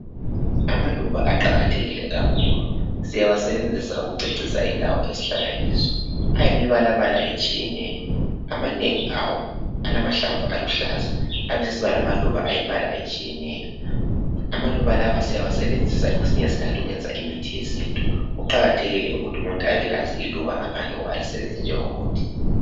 Amaluba aqakathekile kakhulu, siyawasebenzisa ukucecisa indawo esihlala kizo. Ayimibalabala etshiyeneyo. Amanengi awo alamahlamvu aluhlaza, abesesiba lemaluba alembala etshiyeneyo. Amaluba lawa siyawasebenzisa kwesinye isikhathi ukwenza imithi. Kuqakathekile ukuthi umuntu abelazi iluba ngaphandle kokuba alisebenzise njengomuthi.